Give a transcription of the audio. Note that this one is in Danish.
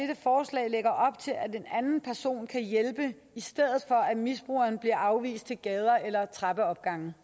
en anden person kan hjælpe i stedet for at misbrugeren bliver afvist til gader eller trappeopgange